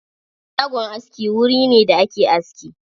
Shagon aski wuri ne da ake aski.